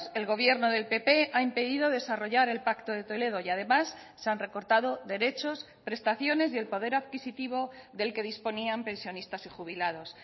el gobierno del pp ha impedido desarrollar el pacto de toledo y además se han recortado derechos prestaciones y el poder adquisitivo del que disponían pensionistas y jubilados